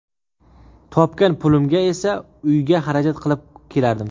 Topgan pulimga esa uyga xarajat qilib kelardim.